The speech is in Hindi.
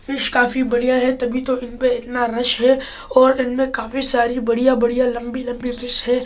फिश काफी बढि़या है तभी तो इनपे इतना रस है और इनमें काफी सारी बढि़या-बढि़या लंबी-लंबी फिश है और ये आदि --